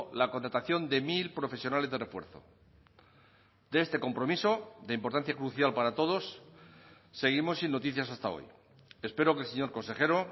la contratación de mil profesionales de refuerzo de este compromiso de importancia crucial para todos seguimos sin noticias hasta hoy espero que el señor consejero